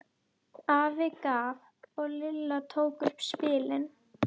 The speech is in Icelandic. Afi gaf og Lilla tók upp spilin.